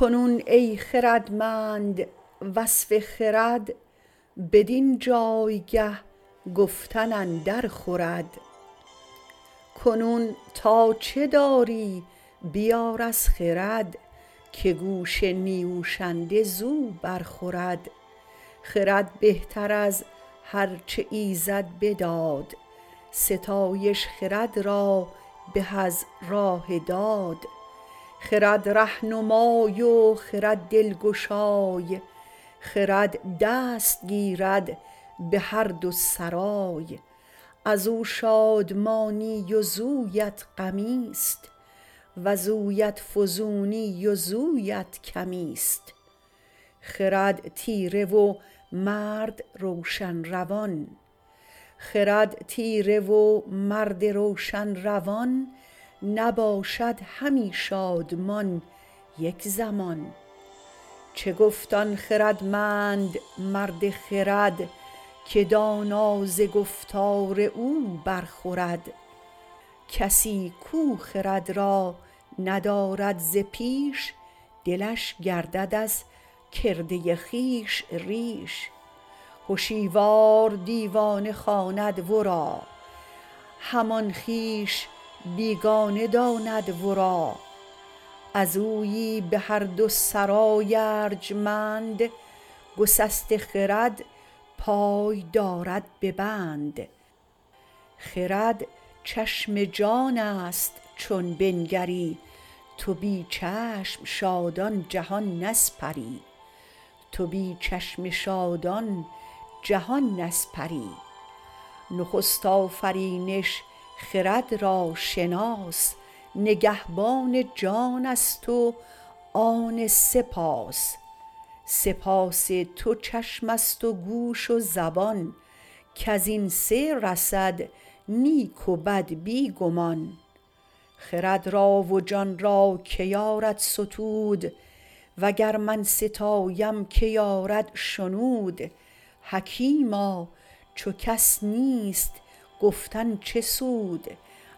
کنون ای خردمند وصف خرد بدین جایگه گفتن اندر خورد کنون تا چه داری بیار از خرد که گوش نیوشنده زو بر خورد خرد بهتر از هر چه ایزد بداد ستایش خرد را به از راه داد خرد رهنمای و خرد دلگشای خرد دست گیرد به هر دو سرای از او شادمانی وزویت غمی است وزویت فزونی وزویت کمی است خرد تیره و مرد روشن روان نباشد همی شادمان یک زمان چه گفت آن خردمند مرد خرد که دانا ز گفتار او بر خورد کسی کو خرد را ندارد ز پیش دلش گردد از کرده خویش ریش هشیوار دیوانه خواند ورا همان خویش بیگانه داند ورا از اویی به هر دو سرای ارجمند گسسته خرد پای دارد به بند خرد چشم جان است چون بنگری تو بی چشم شادان جهان نسپری نخست آفرینش خرد را شناس نگهبان جان است و آن سه پاس سه پاس تو چشم است و گوش و زبان کز این سه رسد نیک و بد بی گمان خرد را و جان را که یارد ستود و گر من ستایم که یارد شنود حکیما چو کس نیست گفتن چه سود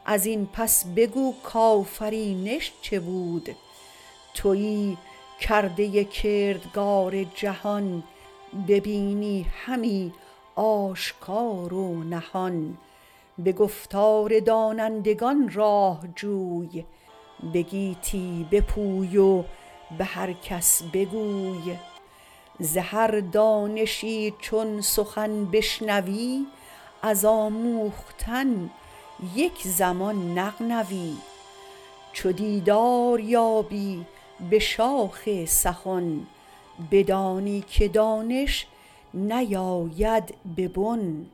از این پس بگو کآفرینش چه بود تویی کرده کردگار جهان ببینی همی آشکار و نهان به گفتار دانندگان راه جوی به گیتی بپوی و به هر کس بگوی ز هر دانشی چون سخن بشنوی از آموختن یک زمان نغنوی چو دیدار یابی به شاخ سخن بدانی که دانش نیاید به بن